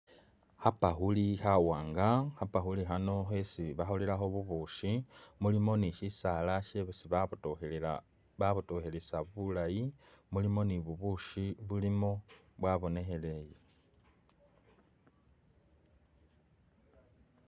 Khabakhuli khawanga , khabakuli khano khesi bakholelakho bubushi mulimo nishisala shesi babotokhelesa bulayi , mulimo nibubushi bulimo bwabonekheleye.